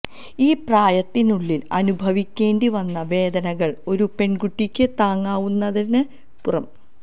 ഈ പ്രായത്തിനുള്ളിൽ അനുഭവിക്കേണ്ടി വന്ന വേദനകൾ ഒരു പെൺകുട്ടിക്ക് താങ്ങാവുന്നതിനപ്പുറം